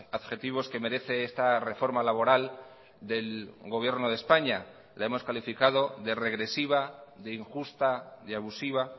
adjetivos que merece esta reforma laboral del gobierno de españa la hemos calificado de regresiva de injusta de abusiva